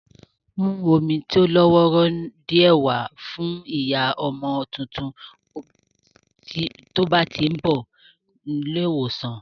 Mú omi tó lọ́wọ́rọ́ díẹ̀ wá fún ìyá ọmọ tuntun tí o bá tí ń bọ̀ ní ilé ìwòsàn